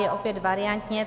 Je opět variantně.